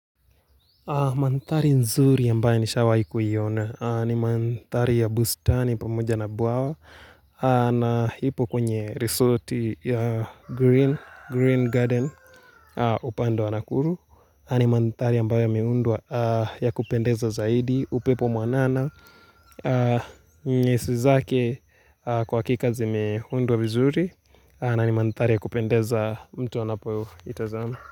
Mandhari nzuri ambayo nishawahi kuiona ni mandhari ya bustani pamoja na bwawa na hipo kwenye resort ya Green Garden upande wa nakuru. Ni mandhari ambayo yameundwa ya kupendeza zaidi upepo mwanana. Nyasi zake kwa hakika zimeundwa vizuri na ni mandhari ya kupendeza mtu anapo itazama.